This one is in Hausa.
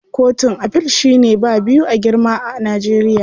Kotun Afil shine ba biyu a girma a Najeriya.